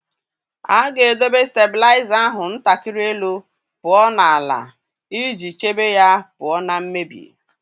A ga-edobe stablaịza ahụ ntakịrị elu pụọ na-ala iji chebe ya pụọ ​​​​na mmebi.